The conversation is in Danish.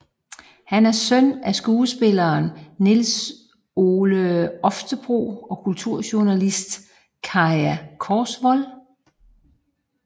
Han er søn af skuespiller Nils Ole Oftebro og kulturjournalist Kaja Korsvold